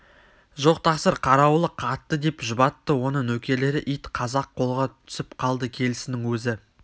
жоқ тақсыр қарауылы қатты деп жұбатты оны нөкерлері ит қазақ қолға түсіп қалды келісінің өзі